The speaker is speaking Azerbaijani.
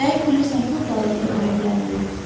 Dəqiq bilirsən ki, o qadın tövləyə gəlməyib.